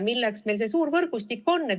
Milleks meil siis see suur võrgustik on?